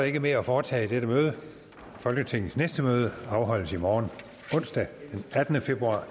ikke mere at foretage i dette møde folketingets næste møde afholdes i morgen onsdag den attende februar